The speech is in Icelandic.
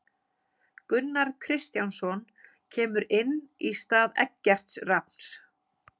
Gunnar Kristjánsson kemur inn í stað Eggerts Rafns.